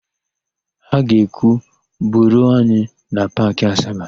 Ha ga-ekwu, "buruo anyị na Paakị Asaba"!